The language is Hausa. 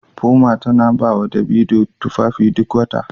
Puma tana ba wa Davido tufafi duk wata